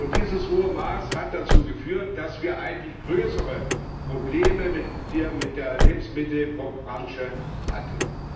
Dieses hohe Maß hat dazu geführt, dass wir eigentlich größere Probleme mit der Lebensmittelbranche hatten.